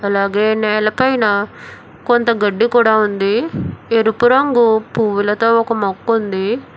అలాగే నేలపైన కొంత గడ్డి కూడా ఉంది ఎరుపు రంగు పువ్వులతో ఒక మొక్క ఉంది.